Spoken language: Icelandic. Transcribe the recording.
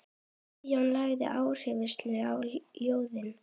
Guðjón lagði áherslu á ljóðin.